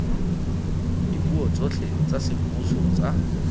dipuo tsotlhe tsa semmuso tsa